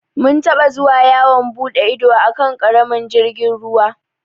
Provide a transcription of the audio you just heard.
Mun taɓa zuwa yawon buɗe ido a kan ƙaramin jirgin ruwa.